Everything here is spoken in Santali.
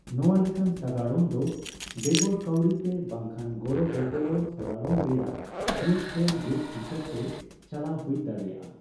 ᱱᱚᱣᱟ ᱞᱮᱠᱟᱱ ᱥᱟᱜᱟᱲᱚᱢ ᱫᱚ ᱵᱮᱜᱚᱨ ᱠᱟᱹᱣᱰᱤ ᱛᱮ ᱵᱟᱝᱠᱷᱟᱱ ᱜᱚᱲᱚᱜᱚᱯᱚᱲᱚ ᱥᱟᱜᱟᱲᱚᱢ ᱨᱮᱭᱟᱜ ᱢᱤᱫᱴᱮᱱ ᱨᱩᱯ ᱦᱤᱥᱟᱹᱵᱛᱮ ᱪᱟᱞᱟᱣ ᱦᱩᱭ ᱫᱟᱲᱮᱭᱟᱜᱼᱟ ᱾